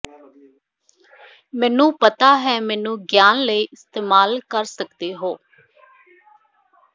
ਮੈਨੂੰ ਪਤਾ ਹੈ ਮੈਨੂੰ ਗਿਆਨ ਲਏ ਇਸਤੇਮਾਲ ਕਰ ਸਕਦੇ ਹੋ